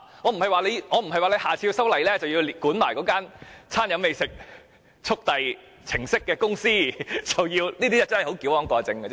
我的意思不是在下次修例時要同時規管提供"餐飲美食速遞"程式的公司，這是矯枉過正的